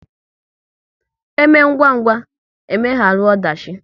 Eme ngwa ngwa, e megharu ọdachi